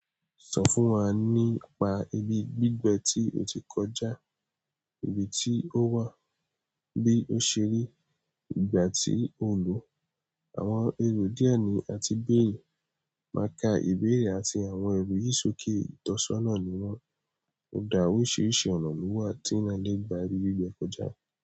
Sọ fún wa nípa ibi gbígbẹ tí o ti kọjá, ibi tí ó wà, bí ó ṣe rí, ìgbà tí o lò, àwọn èrò díẹ̀ ni àti béèni, máa ka ìbéèrè àti àwọn ẹ̀rù yìí sókè. Itọsọna ni wọ́n. Ó dá oríṣiríṣi ọ̀nà lo wa tí eeyan lè gba ibi gbígbẹ kọjá.